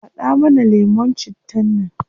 Hada mana lemun cittan nan